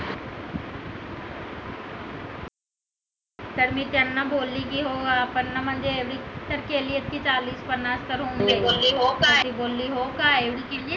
तर मी त्यांना बोलली की हो आपण म्हणजे केली आहेत ना चाळीस-पन्नास तर तर ती बोलली हो काय